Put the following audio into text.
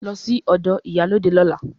Lọ sí ọ̀dọ̀ ìyálóde lọ́la!